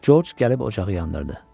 Corc gəlib ocağı yandırdı.